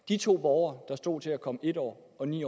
de to borgere der stod til at komme en år og ni